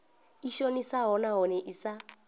i shonisaho nahone i sa